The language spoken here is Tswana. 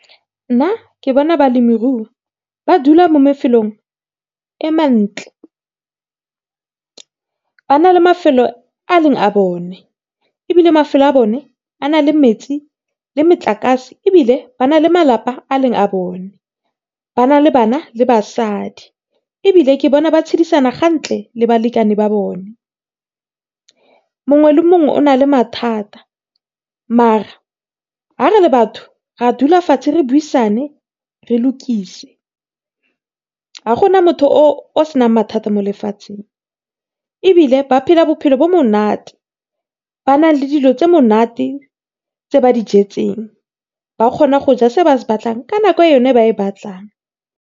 Nna ke bona balemirui ba dula mo mafelong a mantle, ba na le mafelo a e leng a bone ebile mafelo a bone a na le metsi le motlakase ebile ba na le malapa a e leng a bone. Ba na le bana le basadi ebile ke bona ba tshedisana gantle le balekane ba bone. Mongwe le mongwe o na le mathata mare ga re le batho ra dula fatshe re buisane re lokise. Ga gona motho o senang mathata mo lefatsheng, ebile ba phela bophelo bo monate, ba na le dilo tse monate tse ba dijetseng, ba kgona go ja se ba se batlang ka nako yone e ba e batlang.